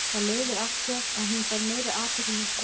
Það leiðir af sér að hún fær meiri athygli hjá strákum.